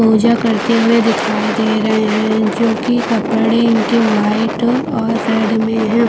पूजा करते हुए दिखाई दे रहे है जो कि कपड़े इनके व्हाइट और रेड मे है।